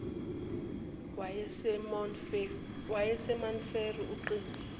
wasemount frere ucingo